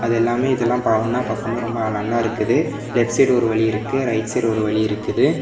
அது எல்லாமே இதெல்லாம் ஒண்ணா பாக்கும் போது ரொம்ப நல்லா இருக்குது லெஃப்ட் சைடு ஒரு வழி இருக்கு ரைட் சைடு ஒரு வழி இருக்குது.